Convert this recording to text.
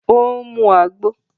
O ń mú Àgbo